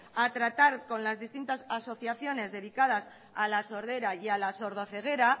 a tratar con las distintas asociaciones dedicadas a la sordera y a la sordo ceguera